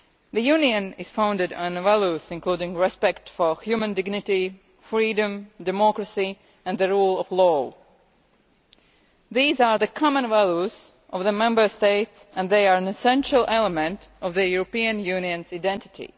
The Union is founded on values including respect for human dignity, freedom, democracy and the rule of law. These are the common values of the Member States, and they are an essential element of the European Union's identity.